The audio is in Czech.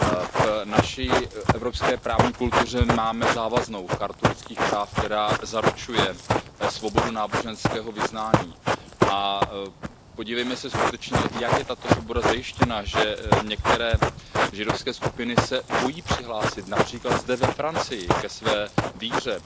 V naší evropské právní kultuře máme závaznou Chartu lidských práv, která zaručuje svobodu náboženského vyznání, a podívejme se skutečně, jak je tato svoboda zajištěna, že některé židovské skupiny se bojí přihlásit, například zde ve Francii, ke své víře.